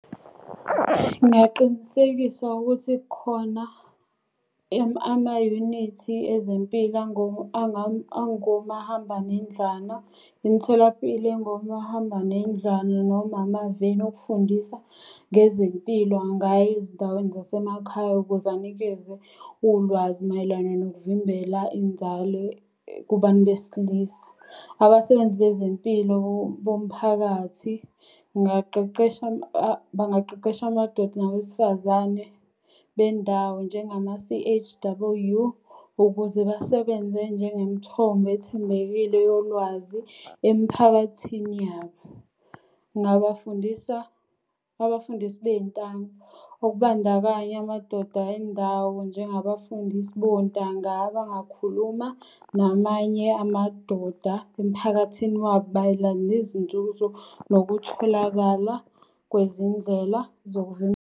Ngingaqinisekisa ukuthi khona amayunithi ezempika angomahambanendlwana, imitholampilo engomahambanendlwana noma amaveni okufundisa ngezempilo angaya ezindaweni zasemakhaya. Ukuze anikeze ulwazi mayelana nokuvimbela inzalo kubantu besilisa. Abasebenzi bezempilo bomphakathi ngaqeqesha bangaqeqesha amadoda nabesifazane bendawo njengama C_H_W ukuze basebenze njengemthombo ethembekile yolwazi emphakathini yabo. Ngingabafundisa abafundisi beyintamo okubandakanya amadoda endawo njengabafundisi bontanga abangakhuluma namanye amadoda emphakathini wabo mayelana nezinzuzo nokutholakala kwezindlela